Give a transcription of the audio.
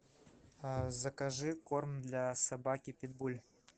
закажи корм для собаки питбуль